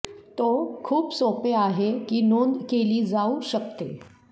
तो खूप सोपे आहे की नोंद केली जाऊ शकते